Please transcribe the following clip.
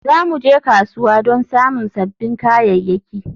Za mu je kasuwa don samun sabbin kayayyaki